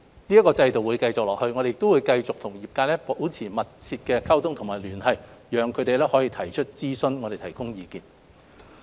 這個制度會繼續下去，我們亦會繼續與業界保持密切的溝通和聯繫，讓他們可以提出諮詢，而我們可以提供意見。